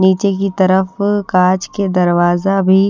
नीचे की तरफ कांच के दरवाजा भी--